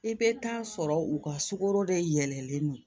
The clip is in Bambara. I bɛ taa sɔrɔ u ka sukaro de yɛlɛlen don